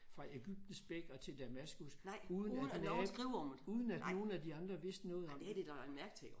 Fra Egyptens bæk og til Damaskus uden at uden at nogle af de andre vidste noget om det